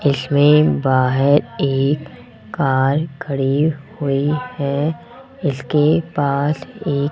इसमें बाहर एक कार खड़ी हुई है इसके पास एक --